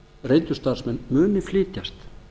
reyndu starfsmenn muni flytjast